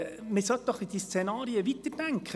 Man sollte doch die Szenarien weiterdenken.